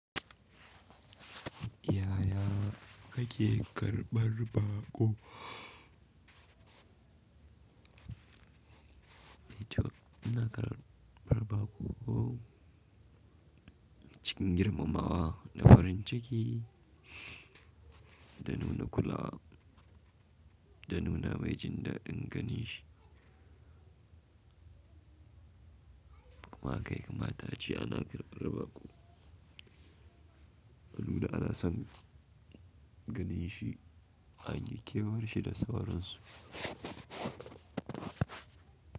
Yaya ka ke ƙarɓar bako? Yace, ina ƙarɓarɓako? Cikin girmama wa da farin ciki, da nuna kula, da nuna mai jin daɗin gani shi. Haka yaka mata, ce ana ƙarɓarɓaku. Allura ana son ganin shi an yi kewaye da sauransu.